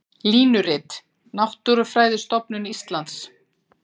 Línurit: Náttúrufræðistofnun Íslands.